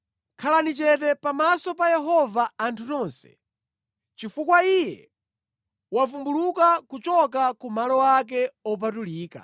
Khalani chete pamaso pa Yehova anthu nonse, chifukwa Iye wavumbuluka kuchoka ku malo ake opatulika.”